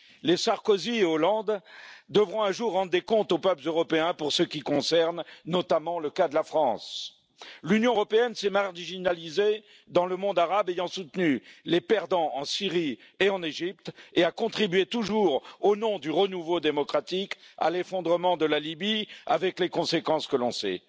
Les Sarkozy et Hollande devront un jour rendre des comptes aux peuples européens pour ce qui concerne notamment le cas de la France. L'Union européenne s'est marginalisée dans le monde arabe du fait qu'elle a soutenu les perdants en Syrie et en Égypte, et a contribué, toujours au nom du renouveau démocratique, à l'effondrement de la Libye, avec les conséquences que l'on sait.